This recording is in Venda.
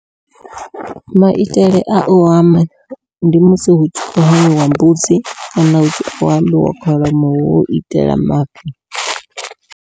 Maitele au hama ndi musi hu tshi kho hamiwa mbudzi kana u hamiwa kholomo hu itela mafhi.